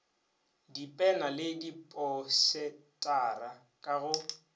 dipena le diposetara ka go